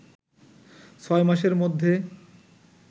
ছয়মাসের মধ্যে